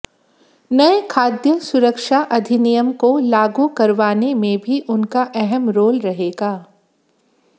नए खाद्य सुरक्षा अधिनियम को लागू करवाने में भी उनका अहम रोल रहेगा